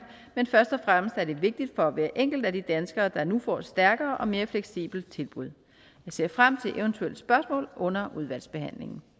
men først og fremmest er det vigtigt for hver enkelt af de danskere der nu får et stærkere og mere fleksibelt tilbud jeg ser frem til eventuelle spørgsmål under udvalgsbehandlingen